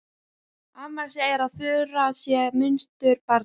Amma segir að Þura sé munsturbarn.